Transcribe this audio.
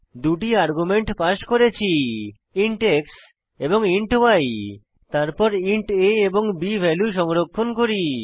দুটি argument pass করেছি int x এবং ইন্ট y তারপর ইন্ট a এবং b ভ্যালু সংরক্ষণ করি